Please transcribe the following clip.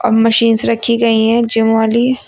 Machines रखी गई हैं जिम वाली।